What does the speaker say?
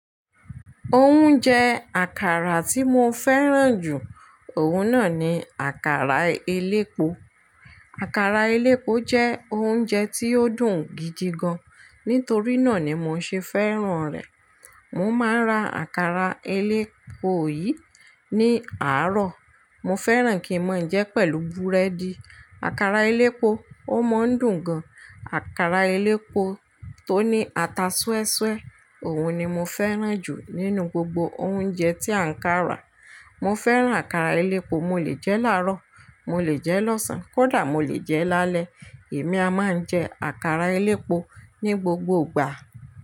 Oúnjẹ àkàrà tí mo fẹ́ràn jù, òun náà ni àkàrà elépo. Àkàrà elépo jẹ́ oúnjẹ tí ó dùn gidi gan. Nítorí náà ni mo ṣe fẹ́ràn rẹ̀. Mo máa ń ra àkàrà elépo yìí ní àárọ̀. Mo fẹ́ràn kí n máa ń jẹ pẹ̀lú búrẹ́dì. Àkàrà elépo, ó máa ń dùn gan. Àkàrà elépo tó ní ata súẹ́súẹ́, òun ni mo fẹ́ràn jù nínú gbogbo oúnjẹ tí à ń kàrà. Mo fẹ́ràn àkàrà elépo, mo lè jẹ láàárọ̀, mo lè jẹ lọ́sàn-án, kódà mo lè jẹ́ lálẹ́. Èmi a máa ń jẹ àkàrà elépo ní gbogbo ìgbà.